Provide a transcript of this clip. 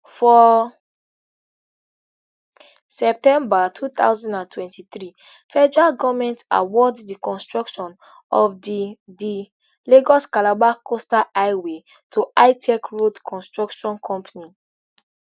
for september two thousand and twenty-three federal goment award di construction of di di lagoscalabar coastal highway to hitech road construction company